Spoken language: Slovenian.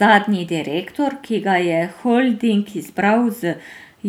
Zadnji direktor, ki ga je holding izbral z